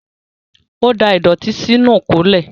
Ó da ìdọ̀tí sínú ìkólẹ̀.